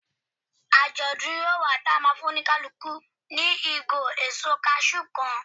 Ajodun yíò wá ti a ma fún oníkálukú ni igo èso cashew kan